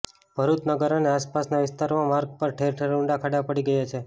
ભરૃચ નગર અને આસપાસના વિસ્તારોમાં માર્ગો પર ઠેર ઠેર ઉંડા ખાડા પડી ગયા છે